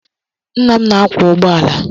Nna m na-akwọ ụgbọala.